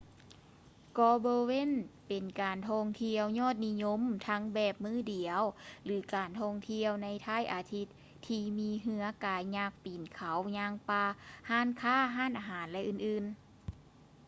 ເກາະ bowen ເປັນການທ່ອງທ່ຽວຍອດນິຍົມທັງແບບມື້ດຽວ ຫຼື ການທ່ອງທ່ຽວໃນທ້າຍອາທິດທີ່ມີເຮືອກາຍັກ ປີນເຂົາ ຍ່າງປ່າ ຮ້ານຄ້າ ຮ້ານອາຫານ ແລະ ອື່ນໆ